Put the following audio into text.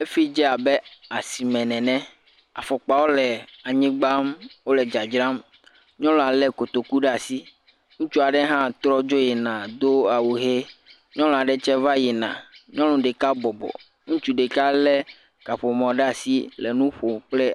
Efi dze abe asime nene. Afɔkpawo le anyigba wo le dzadzram. Nyɔnua le kotoku ɖe asi. Ŋutsu aɖe hã trɔ dzo yina do awu ʋi. Nyɔnu aɖe tsɛ va yina. Nyɔnu ɖeka bɔbɔ, ŋutsu ɖeka le kaƒomɔ ɖe asi le nu ƒom.